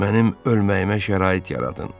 Mənim ölməyimə şərait yaradın!